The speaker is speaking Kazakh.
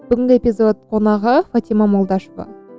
бүгінгі эпизод қонағы фатима молдашева